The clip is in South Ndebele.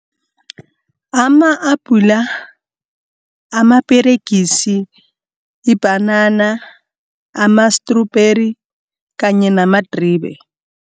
Ama-apula, amaperegisi, ibhanana, ama-strubheri kanye namadribe.